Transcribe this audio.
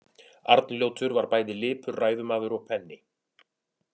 Arnljótur var bæði lipur ræðumaður og penni.